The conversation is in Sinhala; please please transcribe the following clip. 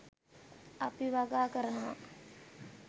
අපි වගා කරනවා